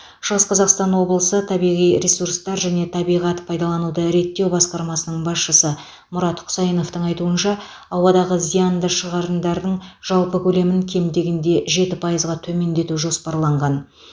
шығыс қазақстан облысы табиғи ресурстар және табиғат пайдалануды реттеу басқармасының басшысы мұрат құсайыновтың айтуынша ауадағы зиянды шығарындардың жалпы көлемін кем дегенде жеті пайызға төмендету жоспарланған